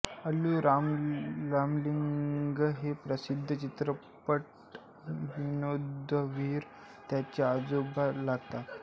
अल्लू रामलिंगय्या हे प्रसिद्ध चित्रपट विनोदवीर त्याचे आजोबा लागतात